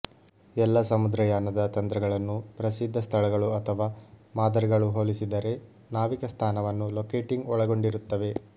ಎಲ್ಲಾ ಸಮುದ್ರಯಾನದ ತಂತ್ರಗಳನ್ನು ಪ್ರಸಿದ್ಧ ಸ್ಥಳಗಳು ಅಥವಾ ಮಾದರಿಗಳು ಹೋಲಿಸಿದರೆ ನಾವಿಕ ಸ್ಥಾನವನ್ನು ಲೊಕೇಟಿಂಗ್ ಒಳಗೊಂಡಿರುತ್ತವೆ